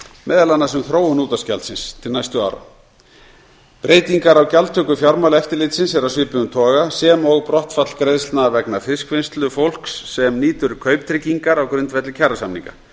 meðal annars um þróun útvarpsgjaldsins til næstu ára breytingar á gjaldtöku fjármálaeftirlitsins eru af svipuðum toga sem og brottfall greiðslna vegna fiskvinnslufólks sem nýtur kauptryggingar á grundvelli kjarasamninga